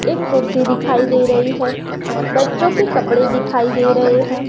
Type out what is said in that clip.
एक कुर्सी दिखाई दे रही है बच्चों के कपड़े दिखाई दे रहे हैं।